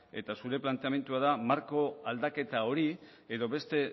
eta zure planteamendua da marko aldaketa hori edo beste